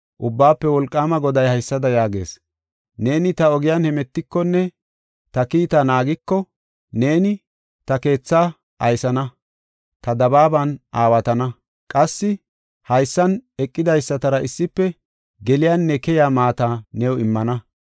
Ubbaafe Wolqaama Goday haysada yaagees; “Neeni ta ogiyan hemetikonne ta kiita naagiko, neeni ta keethaa aysana; ta dabaaban aawatana. Qassi haysan eqidaysatara issife geliyanne keyiya maata new immana.